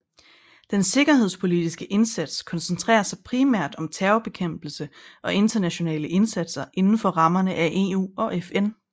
Den sikkerhedspolitiske indsats koncentrerer sig primært om terrorbekæmpelse og internationale indsatser inden for rammerne af EU og FN